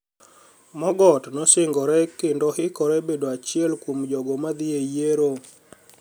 Mogoti nosinigore kenido hikore bedo achiel kuom jogo madhiye e yiero.